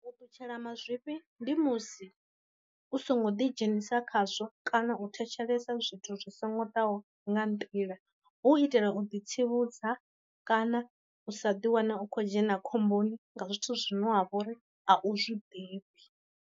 U ṱutshela mazwifhi ndi musi u songo ḓi dzhenisa khazwo kana u thetshelesa zwithu zwi songo ḓaho nga nḓila, hu itela u ḓi tsivhudza kana u sa ḓi wana u khou dzhena khomboni nga zwithu zwino ha vha uri a u zwi ḓivhi.